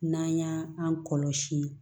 N'an y'an kɔlɔsi